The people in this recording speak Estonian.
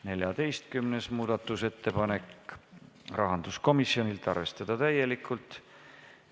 14. muudatusettepanek, rahanduskomisjonilt, arvestada täielikult.